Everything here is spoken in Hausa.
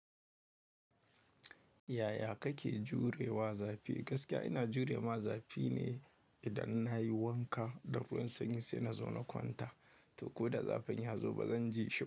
Yaya kake jure wa zafi? Gaskiya ina jure ma zafi ne idan nayi wanka da ruwan sanyi sai na zo na kwanta, to ko da zafin ya zo ba zan ji shi ba.